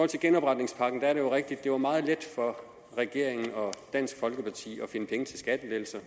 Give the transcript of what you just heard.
til genopretningspakken er det jo rigtigt at det var meget let for regeringen og dansk folkeparti at finde penge til skattelettelser